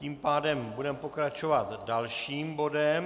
Tím pádem budeme pokračovat dalším bodem.